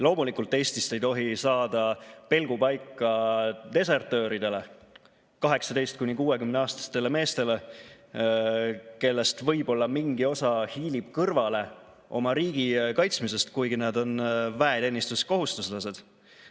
Loomulikult ei tohi Eestist saada pelgupaika desertööridele, 18–60‑aastastele meestele, kellest võib-olla mingi osa hiilib kõrvale oma riigi kaitsmisest, kuigi nad on väeteenistuskohuslased.